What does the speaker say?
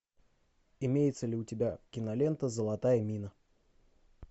имеется ли у тебя кинолента золотая мина